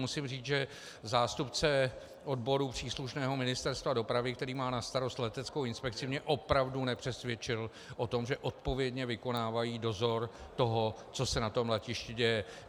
Musím říct, že zástupce odboru příslušného Ministerstva dopravy, který má na starost leteckou inspekci, mě opravdu nepřesvědčil o tom, že odpovědně vykonávají dozor toho, co se na tom letišti děje.